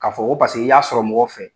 K'a fɔ ko paseke i y'a sɔrɔ mɔgɔ fɛ.